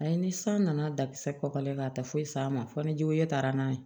Ayi ni san nana dakisɛ kɔkɔlen na a tɛ foyi s'a ma fo ni juguya taara n'a ye